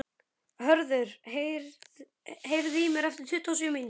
Höður, heyrðu í mér eftir tuttugu og sjö mínútur.